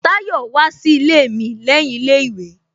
Tayọ wá sí ilé mi lẹ́yìn ilé ìwé